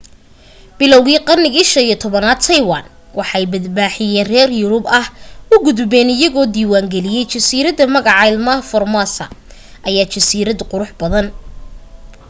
bilowgii qarnigii 15-aad taiwan waxay badmaaxiin reer yurub ah u gudbeen iyagoo diiwaan geliyay jasiiradda magaca ilha formosa ama jasiiradda qurux badan